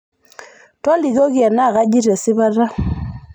tolikioki enakajito esipata